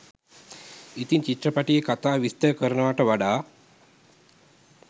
ඉතින් චිත්‍රපටියේ කතාව විස්තර කරනවට වඩා